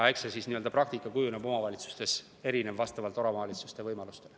Eks see praktika kujuneb omavalitsustes erinev vastavalt võimalustele.